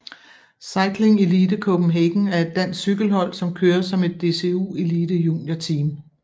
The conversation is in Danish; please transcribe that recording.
Cycling Elite Copenhagen er et dansk cykelhold som kører som et DCU Elite juniorteam